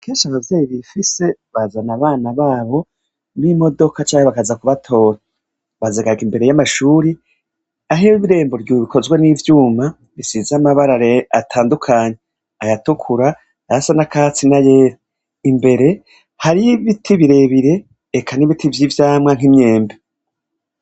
Kenshi abavyeyi bifise bazana abana babo nimodoka canke baza kubatora bazihagarika imbere yamashuri aho irembo rikozwe nivyuma bisize amabara yera atandukanye ayatukura ayasa nakatsi nayera imbere hariho ibiti birebire eka nibiti vyivyamwa nkimyembe